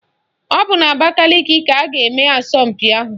Ọ bụ n'Abakaliki ka a ga-eme asọmpi ahụ.